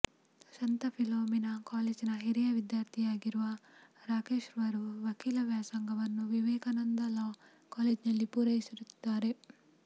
ಸಂತ ಫಿಲೋಮಿನಾ ಕಾಲೇಜ್ನ ಹಿರಿಯ ವಿದ್ಯಾರ್ಥಿಯಾಗಿರುವ ರಾಕೇಶ್ರವರು ವಕೀಲ ವ್ಯಾಸಂಗವನ್ನು ವಿವೇಕಾನಂದ ಲಾ ಕಾಲೇಜ್ನಲ್ಲಿ ಪೂರೈಸಿರುತ್ತಾರೆ